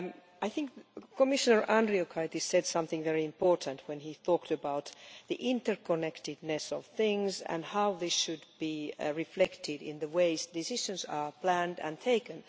I think Commissioner Andriukaitis said something very important when he talked about the interconnectedness of things and how they should be reflected in the ways decisions are planned and taken.